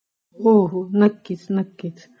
हो हो नक्कीच